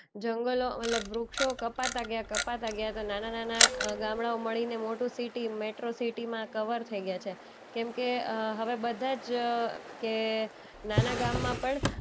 જંગલો મતલબ વૃક્ષો કપાતા ગયા, કપાતા ગયા તો નાના-નાના અ ગામડાંઓ મળીને મોટું સિટી મેટ્રો સિટીમાં કવર થઈ ગયા છે. કેમકે અ હવે બધા જ કે નાના ગામમાં પણ